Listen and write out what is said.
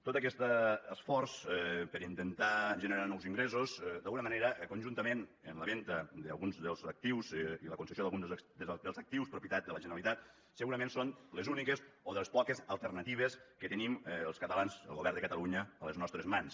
tot aquest esforç per intentar generar nous ingressos d’alguna manera conjuntament amb la venda d’alguns dels actius i la concessió dels actius propietat de la generalitat segurament són les úniques o de les poques alternatives que tenim els catalans el govern de catalunya a les nostres mans